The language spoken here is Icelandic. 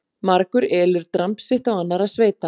Margur elur dramb sitt á annarra sveita.